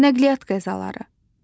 Nəqliyyat qəzaları.